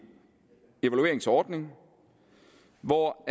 evalueringsordning hvor